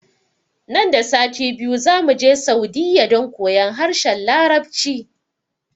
Nan da sati biyu zamuje saudiyya don koyon harshen larabci